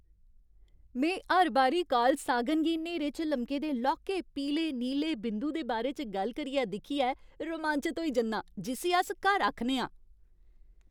में हर बारी कार्ल सागन गी न्हेरे च लमके दे लौह्के पीले नीले बिंदु दे बारे च गल्ल करदे दिक्खियै रोमांचत होई जन्नां जिस्सी अस घर आखने आं।